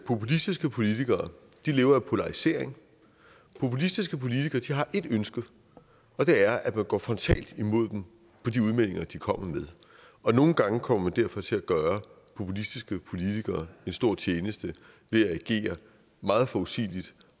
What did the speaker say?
populistiske politikere lever af polarisering populistiske politikere har ét ønske og det er at man går frontalt imod dem på de udmeldinger de kommer med og nogle gange kommer man derfor til at gøre populistiske politikere en stor tjeneste ved at agere meget forudsigeligt